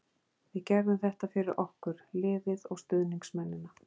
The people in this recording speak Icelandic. Við gerðum þetta fyrir okkur, liðið og stuðningsmennina.